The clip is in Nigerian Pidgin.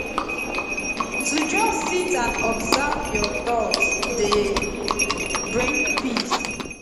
to just sit and observe your thoughts dey bring peace